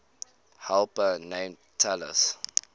helper named talus